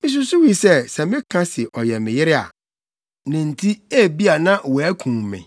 “Misusuwii sɛ, sɛ meka se ɔyɛ me yere a, ne nti, ebia na wɔakum me.”